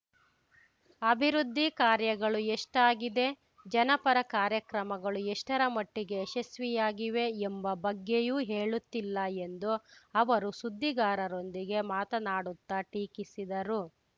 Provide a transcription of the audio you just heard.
ಅಭಿವೃದ್ಧಿ ಕಾರ್ಯಗಳು ಎಷ್ಟಾಗಿದೆ ಜನಪರ ಕಾರ್ಯಕ್ರಮಗಳು ಎಷ್ಟರಮಟ್ಟಿಗೆ ಯಶಸ್ವಿಯಾಗಿವೆ ಎಂಬ ಬಗ್ಗೆಯೂ ಹೇಳುತ್ತಿಲ್ಲ ಎಂದು ಅವರು ಸುದ್ದಿಗಾರರೊಂದಿಗೆ ಮಾತನಾಡುತ್ತ ಟೀಕಿಸಿದರು